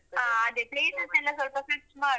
ಆ ಅದೆ places ಎಲ್ಲಾ ಸ್ವಲ್ಪ search ಮಾಡ್ವ.